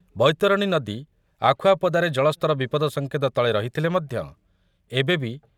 ବୈତରଣୀ ନଦୀ ଆଖୁଆପଦାରେ ଜଳସ୍ତର ବିପଦସଂକେତ ତଳେ ରହିଥିଲେ ମଧ୍ୟ ଏବେ ବି